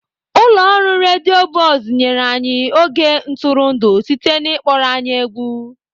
Ụlọ ọrụ redio Buzz nyere anyị oge ntụrụndụ site na ịkpọrọ anyị egwu.